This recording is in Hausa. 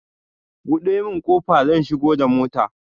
Ka buɗe min kofa zan shigo da mota